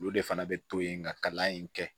Olu de fana bɛ to yen nka kalan in kɛ